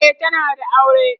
e tana da aure